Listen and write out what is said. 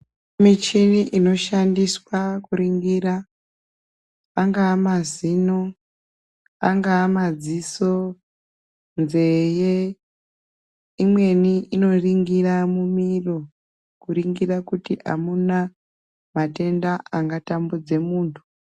Michini inoshandiswa kuringira angaa mazino, angaa madziso, nzeye. Imweni inoringira mumiro, kuringira kuti amuna matenda angatambudze muntu.